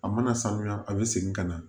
A mana sanuya a bɛ segin ka na